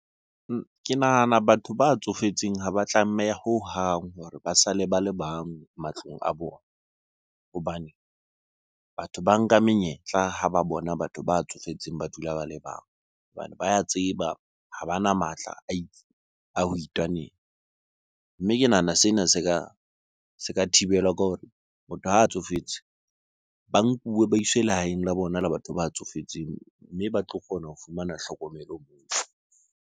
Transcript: Ke nahana batho ba tsofetseng ha ba tlameha hohang hore ba sale ba le bang matlong a bona. Hobane batho ba nka menyetla ha ba bona batho ba tsofetseng ba dula ba le bang. Hobane ba ya tseba ha bana matla a ho itwanela. Mme ke nahana sena se ka thibelwa ke hore motho ha a tsofetse, ba nkuwe ba iswe lehaeng la bona la batho ba tsofetseng. Mme ba tlo kgona ho fumana tlhokomelo moo.